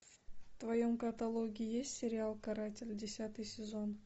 в твоем каталоге есть сериал каратель десятый сезон